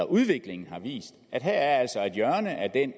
udviklingen har jo vist at der altså her er et hjørne